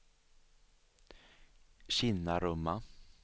Kinnarumma